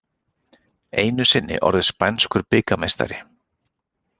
Einu sinni orðið spænskur bikarmeistari